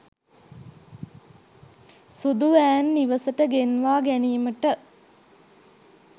සුදු වෑන් නිවසට ගෙන්වා ගැනීමට